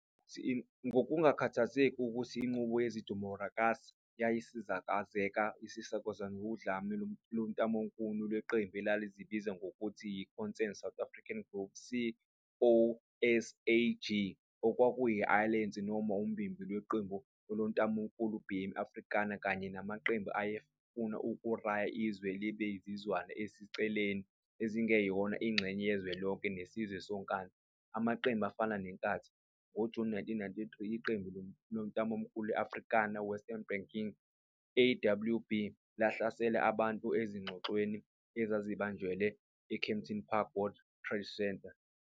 Ngokukhthazeka ukuthi inqubo yedimokhrasi yayisikazeka isikazwa wudlame lontamolukhuni leqembu elalizibiza ngokuthi yi-Concerned South Africans Group, COSAG, okwakuyi-alayense noma umbimbi lwamaqembu ontamolukhuni bma-Afrikaner, kanye namaqembu aye funa ukukraya izwe libe zizwana eziseceleni ezingeyona ingxenye yezwelonke nesizwe sonkana, amaqembu afana neNkatha, ngoJuni 1993, iqembu lontamolukhuni le-Afrikaner Weerstandsbeweging, AWB, lahlasela abantu ezingxoxweni ezazibanjelwa e-Kempton Park World Trade Centre.